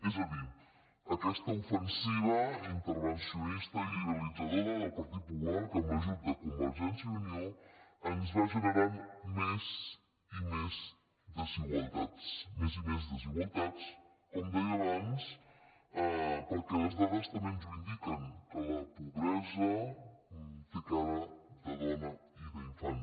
és a dir aquesta ofensiva intervencionista i liberalitza·dora del partit popular que amb l’ajut de convergència i unió ens va generant més i més desigualtats més i més desigualtats com deia abans perquè les dades també ens ho indiquen que la pobresa té cara de dona i d’infant